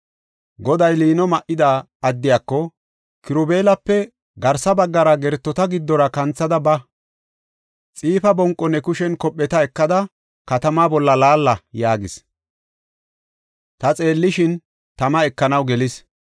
Goday liino ma7ida addiyako, “Kirubeelape garsa baggara gertota giddora kanthada ba. Xiifa bonqo ne kushen kopheta ekada, katamaa bolla laalla” yaagis. Ta xeellishin tama ekanaw gelis.